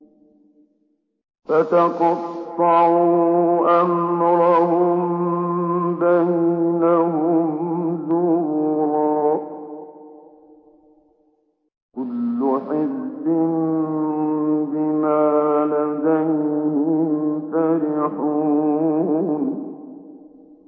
فَتَقَطَّعُوا أَمْرَهُم بَيْنَهُمْ زُبُرًا ۖ كُلُّ حِزْبٍ بِمَا لَدَيْهِمْ فَرِحُونَ